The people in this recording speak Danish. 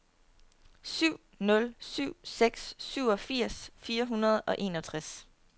syv nul syv seks syvogfirs fire hundrede og enogtres